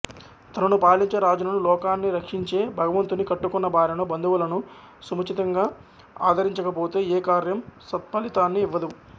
తనను పాలించే రాజును లోకాన్నిరక్షించే భగవంతుని కట్టుకున్న భార్యను బంధువులను సముచితంగా ఆదరించక పోతే ఏ కార్యం సత్ఫలితాన్ని ఇవ్వదు